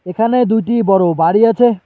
এখানে দুইটি বড় বাড়ি আছে।